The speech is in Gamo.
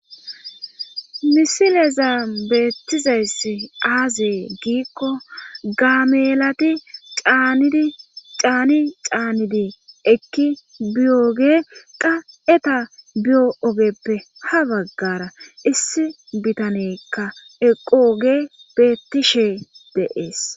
misileza beettizayss aaziye giikko gaamelati cand caani caanidi ekki biyooge qa eta biyo ogeppe ha baggara issi bitanekka eqooge beettishe deees